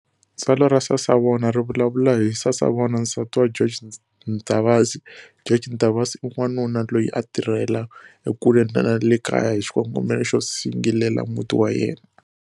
Tsalwa ra Sasavona ri vulavulavula hi Sasavona nsati wa George Ntavasi. George Ntavasi i wanuna loyi a a tirhela ekule ni le kaya hi xikongomelo xo singilela muti wa yena.